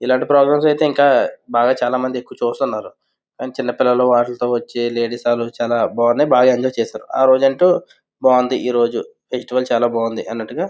ఇలాంటి ప్రోగ్రామ్స్ అయితే ఇంకా బాగా చాలా మంది ఎక్కువ చూస్తున్నారు. చిన్నపిల్లలు వాళ్లతో వచ్చు లేడీస్ వాళ్ళు చాలా బాగున్నాయి బాగా ఎంజాయ్ చేశారు ఆ రోజంతా ఆరోజు అంటూ చాలా బాగుంది ఈరోజు ఫెస్టివల్ చాల బాగుంది అన్నట్టుగా --